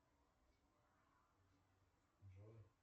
джой